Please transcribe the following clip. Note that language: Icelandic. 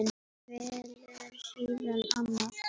Velur síðan annan.